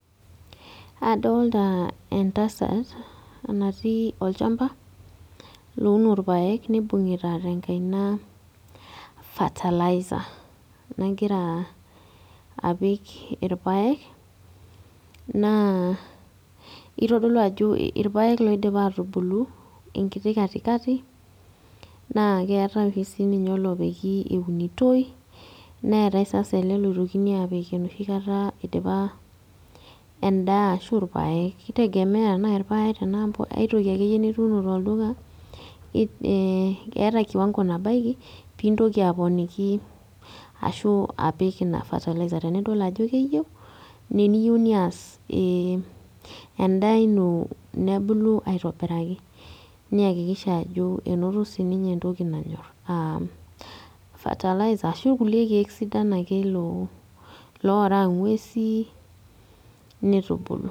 Adolta entasat natii olchamba, louno irpaek nibung'ita tenkaina fertiliser. Nagira apik irpaek, naa kitodolu ajo irpaek loidipa atubulu enkiti katikati, naa keetae oshi sininye olopiki eunitoi, neetae sasa ele loitokini apik enoshi kata idipa endaa ashu irpaek kitegemea ashu irpaek tenaa aitoki akeyie nituuno tolduka, eh eeta kiwango nabaiki pintoki aponiki ashu apik ina fertiliser. Tenidol ajo keyieu, ne eniyieu nias enda ino nebulu aitobiraki. Niakikisha ajo enoto sininye entoki nanyor, ah fertiliser ashu kulie keek sidan ake loraa ng'uesin, nitubulu.